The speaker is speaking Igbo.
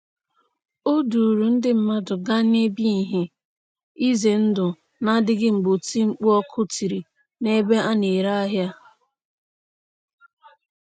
O duuru ndị mmadụ gaa n'ebe ihe ize ndụ na-adịghị mgbe oti mkpu ọkụ tiri n'ebe a na-ere ahịa.